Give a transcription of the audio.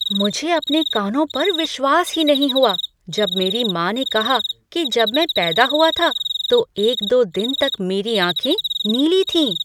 मुझे अपने कानों पर विश्वास नहीं हुआ जब मेरी माँ ने कहा कि जब मैं पैदा हुआ था तो एक दो दिन तक मेरी आँखें नीली थीं।